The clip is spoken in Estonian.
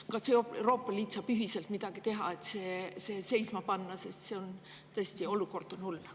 Kas Euroopa Liit saab ühiselt midagi teha, et see seisma panna, sest olukord on tõesti hull?